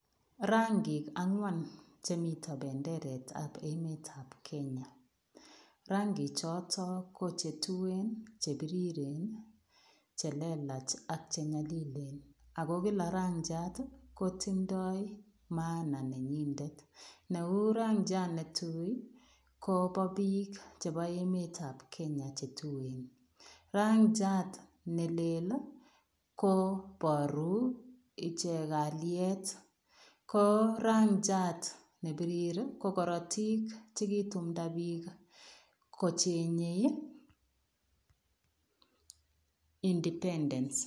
Rangiik angwaan chemiten bendereet ab Kenya ,rangiig chotoo ko che tuen, che biriren, che lelaach ii, ak nyalilen ako kila rangiat ii kotindoi maana nenyinet neu rangiat ne tui ko bo biik chebo emet ab Kenya che tuen , rangiat ne lel ii ko boruu icheek kaliet ko rangiat nebirur ii ko koratiik chekitumda biik kochengei ,ii [independence].